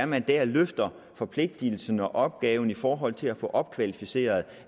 man der løfter forpligtigelsen og opgaven i forhold til at få opkvalificeret